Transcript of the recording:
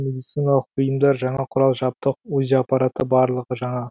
медициналық бұйымдар жаңа құрал жабдық узи апараты барлығы жаңа